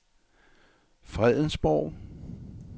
Fredensborg